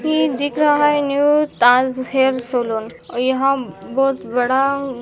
ही दिख रहा है न्यू ताज हेयर सलोन और यहाँ बहुत बड़ा --